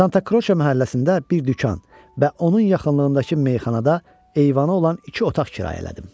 Santa Kroça məhəlləsində bir dükan və onun yaxınlığındakı meyxanada eyvanı olan iki otaq kirayələdim.